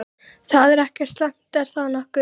Það er ekkert slæmt, er það nokkuð?